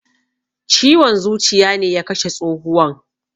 Ciwon zuciya ne ya kashe tsohuwan.